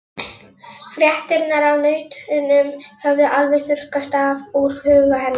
Fréttirnar af nautunum höfðu alveg þurrkast úr huga hennar.